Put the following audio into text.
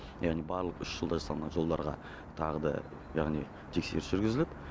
яғни барлық үш жылда салынған жолдарға тағы да яғни тексеріс жүргізіліп